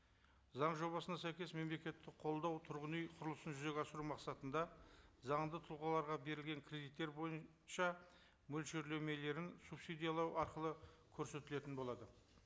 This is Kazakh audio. заң жобасына сәйкес мемлекеттік қолдау тұрғын үй құрылысын жүзеге асыру мақсатында заңды тұлғаларға берілген кредиттер бойынша мөлшерлемелерін субсидиялау арқылы көрсетілетін болады